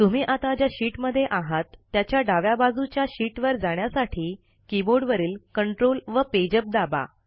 तुम्ही आता ज्या शीटमध्ये आहात त्याच्या डाव्या बाजूच्या शीटवर जाण्यासाठी कीबोर्डवरील Ctrl व पेजअप दाबा